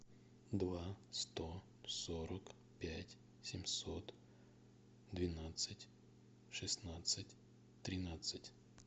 два сто сорок пять семьсот двенадцать шестнадцать тринадцать